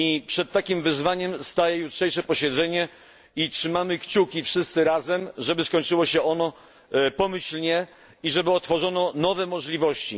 Przed takim wyzwaniem staje jutrzejsze posiedzenie i trzymamy kciuki wszyscy razem, żeby skończyło się ono pomyślnie i żeby otworzono nowe możliwości.